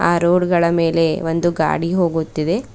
ಆ ರೋಡ್ ಗಳ ಮೇಲೆ ಒಂದು ಗಾಡಿ ಹೋಗುತ್ತಿದೆ.